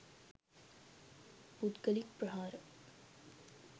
පුද්ගලික් ප්‍රහාර